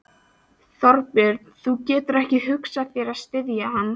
Þorbjörn: Þú getur ekki hugsað þér að styðja hann?